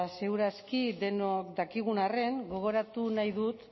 seguraski denok dakigun arren gogoratu nahi dut